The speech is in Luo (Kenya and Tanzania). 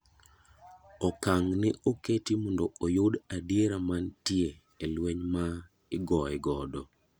Okang' ne oketi mondo oyud adiera mantie e lweny ma igoye godo.